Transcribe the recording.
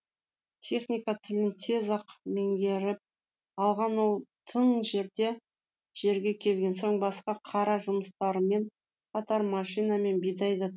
техника тілін тез ақ меңгеріп алған ол тың жерге келген соң басқа қара жұмыстармен қатар машинамен бидай да